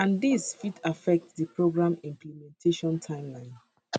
and dis fit affect di program implementation timeline